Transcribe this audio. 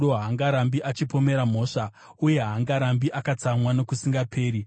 Haangarambi achipomera mhosva, uye haangarambi akatsamwa nokusingaperi;